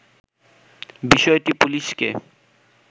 বিষয়টি পুলিশকে